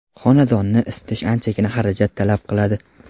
xonadonni isitish anchagina xarajat talab qiladi.